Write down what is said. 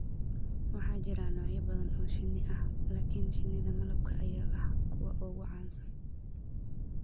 Waxaa jira noocyo badan oo shinni ah, laakiin shinnida malabka ayaa ah kuwa ugu caansan.